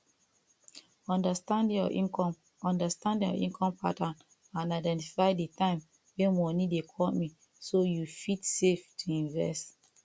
understand your income understand your income pattern and identify di time wey money dey come in so you fit save to invest